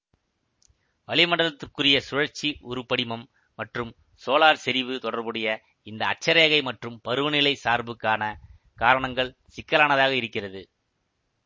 வளிமண்டலத்திற்குரிய சுழற்சி உருப்படிமம் மற்றும் சோலார் செறிவு தொடர்புடைய இந்த அட்சரேகை மற்றும் பருவநிலை சார்புக்கான காரணங்கள் சிக்கலானதாக இருக்கிறது